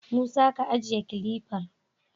Musa, ka ajiye kilifar!